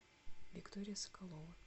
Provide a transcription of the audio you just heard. виктория соколова